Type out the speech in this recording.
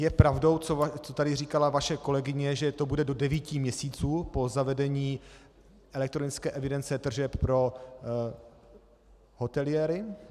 Je pravdou, co tady říkala vaše kolegyně, že to bude do devíti měsíců po zavedení elektronické evidence tržeb pro hoteliéry?